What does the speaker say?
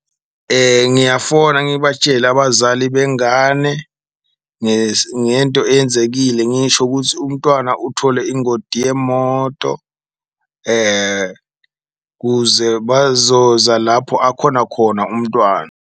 Ngiyafona ngibatshele abazali bengane ngento eyenzekile ngisho ukuthi umntwana uthole ingoti yemoto kuze bazoza lapho akhona khona umntwana.